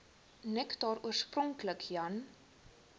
nektar oorspronklik jan